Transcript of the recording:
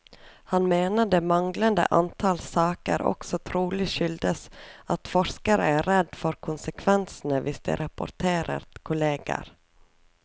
Han mener det manglende antall saker også trolig skyldes at forskere er redd for konsekvensene hvis de rapporterer kolleger.